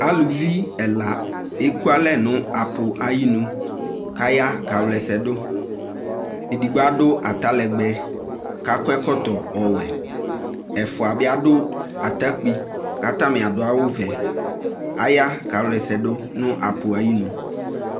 Aluvi ɛla eku alɛ no apu aye nu kaya ka wla ɛsɛ do Edigbo ado atalegbɛ ko akɔ ɛlɔtɔ ɔwɛ Ɛfua be ado atakpi ka atame aso awuvɛ Aya kaa qla ɛsɛ do no api aye nu